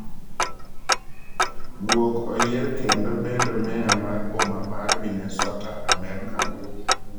Guok oyier kendo bedo Meya mar boma mar Minesota, Amerka.